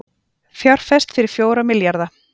Fjárfest fyrir fjóra milljarða